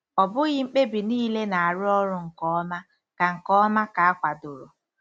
Ọ bụghị mkpebi niile na-arụ ọrụ nke ọma ka nke ọma ka akwadoro.